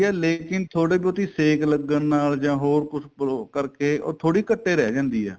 ਲੇਕਿਨ ਥੋੜੀ ਬਹੁਤੀ ਸੇਕ ਲੱਗਣ ਨਾਲ ਜਾਂ ਹੋਰ ਕੁੱਝ ਕਰ ਕੇ ਉਹ ਥੋੜੀ ਘੱਟ ਏ ਰਹਿ ਜਾਂਦੀ ਏ